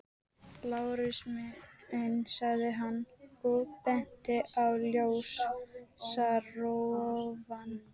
Lárus minn, sagði hann og benti á ljósarofann.